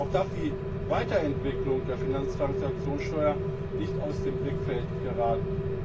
Auch darf die Weiterentwicklung der Finanztransaktionssteuer nicht aus dem Blickfeld geraten.